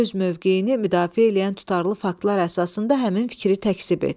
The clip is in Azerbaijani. Öz mövqeyini müdafiə eləyən tutarlı faktlar əsasında həmin fikri təkzib et.